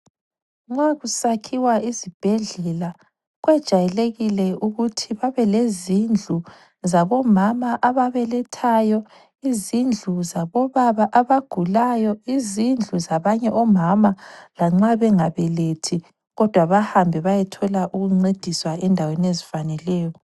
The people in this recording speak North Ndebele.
Nxa kusakhiwa isibhedlela kwejayelekile ukuthi babelezindlu zabomama ababelethayo, izindlu zabobaba abagulayo, izindlu zabanye omama lanxa bengabelethi kodwa bahambe bayethola ukuncediswa endaweni ezifaneleyo.